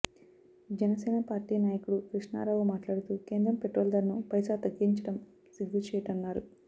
Janasena party నాయకుడు కృష్ణారావు మాట్లాడుతూ కేంద్రం పెట్రోల్ ధరను పైసా తగ్గించడం సిగ్గుచేటన్నారు